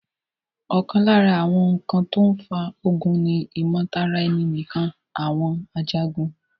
ọ̀kan lára àwọn ǹkan tó n fa ogun ni ìmọ̀tara ẹni nìkan àwọn Ajagun